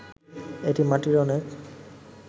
এটি মাটির অনেক